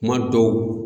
Kuma dɔw